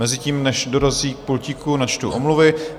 Mezitím, než dorazí k pultíku, načtu omluvy.